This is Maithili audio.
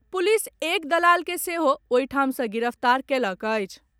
पुलिस एक दलाल के सेहो ओहि ठाम सॅ गिरफ्तार कयलक अछि।